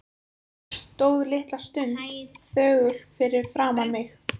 Stóð litla stund þögull fyrir framan mig.